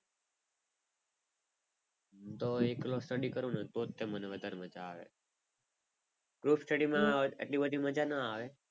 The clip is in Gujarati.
હું તો એકલો study કરું ને તો જ મને વધારે મજા આવે. group study માં આટલી બધી મજા ના આવે.